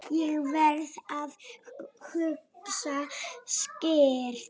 Ég verð að hugsa skýrt.